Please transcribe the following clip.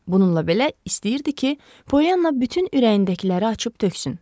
Bununla belə, istəyirdi ki, Polyanna bütün ürəyindəkiləri açıb töksün.